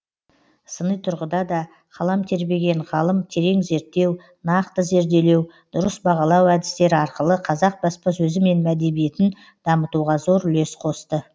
сыни тұрғыда да қалам тербеген ғылым терең зерттеу нақты зерделеу дұрыс бағалау әдістері арқылы қазақ баспасөзі мен әдебиетін дамытуға зор үлес қосты